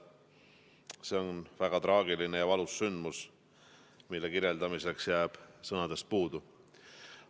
See on väga traagiline ja valus sündmus, mille kirjeldamiseks jääb sõnadest puudu.